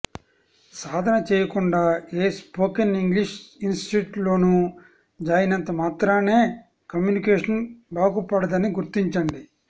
సాధన చేయకుండా ఏ spoken English ఇన్స్టిట్యూట్లోనో జాయినంతమాత్రానే కమ్యూనికేషన్ బాగుపడదని గుర్తించండి